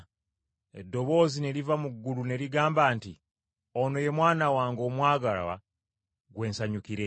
Eddoboozi ne liva mu ggulu ne ligamba nti, “Ono ye Mwana wange omwagalwa gwe nsanyukira ennyo.”